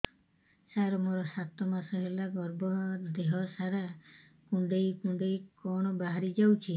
ସାର ମୋର ସାତ ମାସ ହେଲା ଗର୍ଭ ଦେହ ସାରା କୁଂଡେଇ କୁଂଡେଇ କଣ ବାହାରି ଯାଉଛି